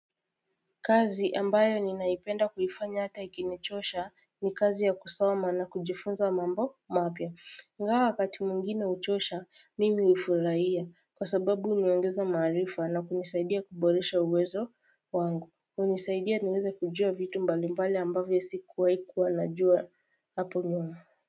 Kazi ambayo ninaipenda kuifanya hata ikinichosha ni kazi ya kusoma na kujifunza mambo mapya. Ingawa wakati mwingine huchosha, mimi hufurahia kwa sababu huniongeza maarifa na kunisaidia kuboresha uwezo wangu. Hunisaidia niweze kujua vitu mbalimbali ambavyo sikuwahi kuwa najua hapo nyuma.